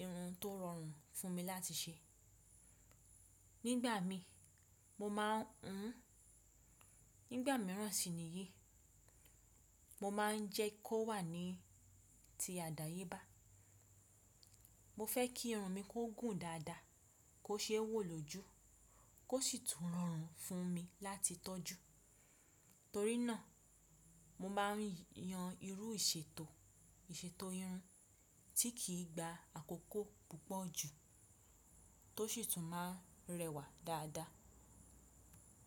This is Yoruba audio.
irun tó rọrùn fún mi láti ṣe. Nígbà mi mo ma n hùn, nígbà míràn si nìyí mo ma n jẹ́ kó wà ní ti àdáyébá. Mo fẹ́ kí irun mi kó gùn dáadáa, kó ṣe wò lójú kó sì tún rọrùn fún mi láti tọ́jú, torí náà mo ma n yan irú ìṣètò, iseto irun tí kì í gba àkókò púpọ̀ jù tó sì tún máa n rẹwà dáadáa.